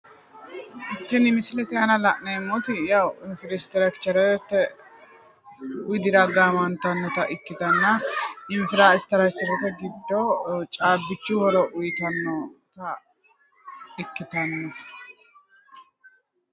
Tini misilete aana la'neemmoti infrastructurete widira gaamantannota ikitanna infrastructurete giddo caabbichu horo uyitannotta ikkittanno.